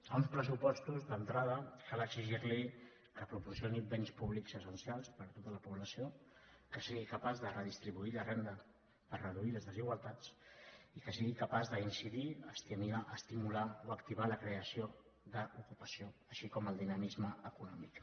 a uns pressupostos d’entrada cal exigir los que proporcionin béns públics essencials per a tota la població que siguin capaços de redistribuir la renda per reduir les desigualtats i que siguin capaços d’incidir estimular o activar la creació d’ocupació com també el dinamisme econòmic